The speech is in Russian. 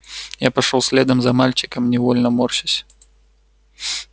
я пошёл следом за мальчиком невольно морщась